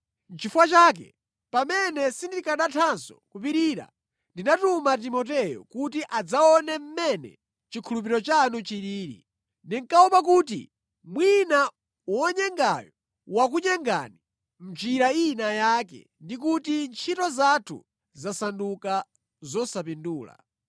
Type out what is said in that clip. Nʼchifukwa chake, pamene sindikanathanso kupirira, ndinatuma Timoteyo kuti adzaone mmene chikhulupiriro chanu chilili. Ndinkaopa kuti mwina wonyengayo, wakunyengani mʼnjira ina yake ndi kuti ntchito zathu zasanduka zosapindula.